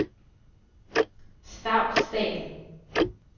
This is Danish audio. Stavsdal